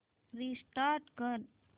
restart कर